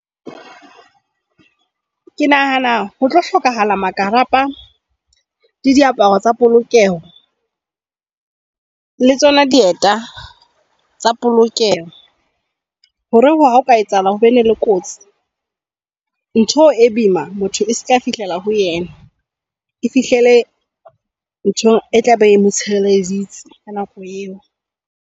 Ke nahana ho tlo hlokahala makarapa le diaparo tsa polokeho le tsona dieta tsa polokeho. Hore ha o ka etsahala hore ho be le kotsi ntho e boima, motho e ska fihlela ho yena. E fihlelle ntho e tla be e mo tshireleditse ka nako eo.